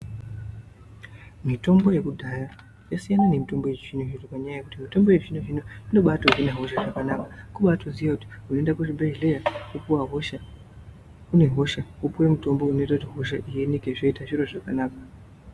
Mitombo yekudhaya yasiyana nemitombo yechizvinezvi ngenyaa yokuti mitombo yechizvino zvino inotobaa hina hosha kubaa tozive kuti unoende kuchibhedhlera wosvika une hosha wopuwe mutombo unoita kuti hosha iyi ioneke yeita zviro zvakanaka.